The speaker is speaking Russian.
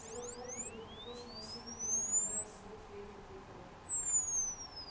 этот вопль был похож на усиленный во много раз звук флейты-пикколо